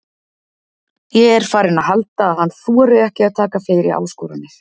Ég er farinn að halda að hann þori ekki að taka fleiri áskoranir.